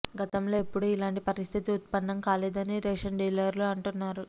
గతంలో ఎప్పుడూ ఇలాంటి పరిస్థితి ఉత్పన్నం కాలేదని రేషన్ డీలర్లు అంటున్నారు